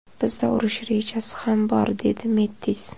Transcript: Bizda urush rejasi ham bor”, dedi Mettis.